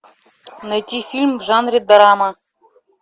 найти фильм в жанре драма